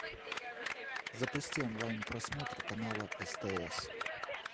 запусти онлайн просмотр канала стс